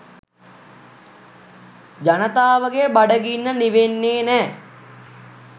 ජනතාවගේ බඩගින්න නිවෙන්නේ නෑ.